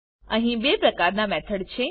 અહી બે પ્રકારના મેથડ છે